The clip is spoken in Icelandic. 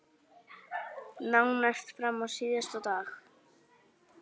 Nánast fram á síðasta dag.